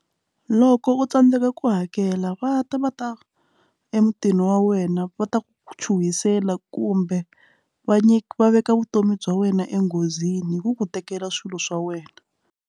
Loko u tsandzeka ku hakela va ta va ta emutini wa wena va ta ku chuhisela kumbe va nyika veka vutomi bya wena enghozini hi ku ku tekela swilo swa wena.